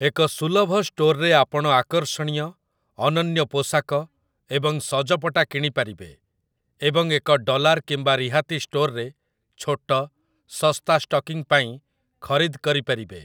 ଏକ ସୁଲଭ ଷ୍ଟୋର୍‌ରେ ଆପଣ ଆକର୍ଷଣୀୟ, ଅନନ୍ୟ ପୋଷାକ ଏବଂ ସଜପଟା କିଣିପାରିବେ, ଏବଂ ଏକ ଡଲାର୍ କିମ୍ବା ରିହାତି ଷ୍ଟୋର୍‌ରେ ଛୋଟ, ଶସ୍ତା ଷ୍ଟକିଂ ପାଇଁ ଖରିଦ କରିପାରିବେ ।